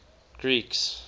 greeks